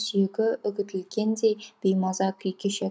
сүйегі үгітілгендей беймаза күй кешетін